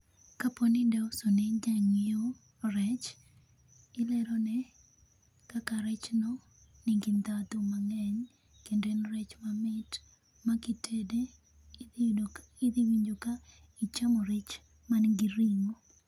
kapo ni idwa uso ne jang'iewo rech ilero ne kaka rech no nigi ndhadhu mang'eny kendo en rech mamit makitede idhi idhi winjo kichamo rech manigi ring'o.